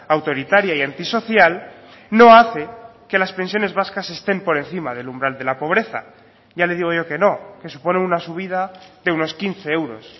autoritaria y antisocial no hace que las pensiones vascas estén por encima del umbral de la pobreza ya le digo yo que no que supone una subida de unos quince euros